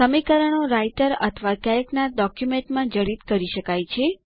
સમીકરણો રાઈટર અથવા કેલ્કના ડોક્યુમેન્ટમાં જડિત કરી શકાય છે